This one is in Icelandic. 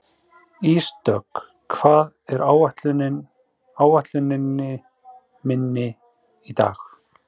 Ísdögg, hvað er á áætluninni minni í dag?